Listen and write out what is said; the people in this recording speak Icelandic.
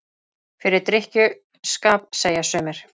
Fyrir drykkju- skap, segja sumir.